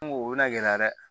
N ko o bɛna gɛlɛya dɛ